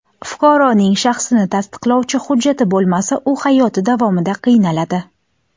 Fuqaroning shaxsini tasdiqlovchi hujjati bo‘lmasa u hayoti davomida qiynaladi.